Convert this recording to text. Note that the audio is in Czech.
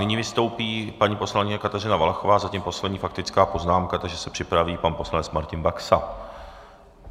Nyní vystoupí paní poslankyně Kateřina Valachová, zatím poslední faktická poznámka, takže se připraví pan poslanec Martin Baxa.